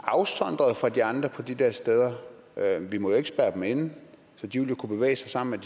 afsondret fra de andre på de der steder vi må jo ikke spærre dem inde så de vil jo kunne bevæge sig sammen